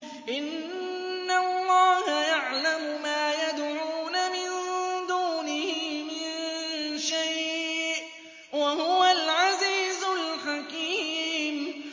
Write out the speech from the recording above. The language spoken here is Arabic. إِنَّ اللَّهَ يَعْلَمُ مَا يَدْعُونَ مِن دُونِهِ مِن شَيْءٍ ۚ وَهُوَ الْعَزِيزُ الْحَكِيمُ